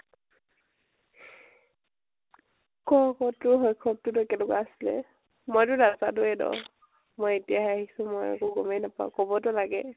ক আকৌ তোৰ শৈশৱ তো কেনেকুৱা আছিলে ? মই তো নাজানোৱে ন, মই এতিয়াহে আহিছো । মই একো গমেই নাপাওঁ, কবটো লাগে ।